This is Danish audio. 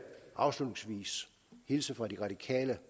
afslutningsvis hilse fra de radikale